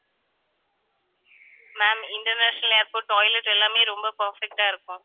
ma'am international airport toilet எல்லாமே ரொம்ப perfect ஆ இருக்கும்